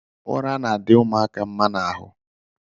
Ụra na-adị ụmụaka mma n’ahụ